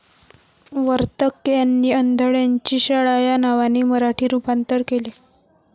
वर्तक यांनी अंधळ्यांची शाळा या नावाने मराठी रुपांतर केले.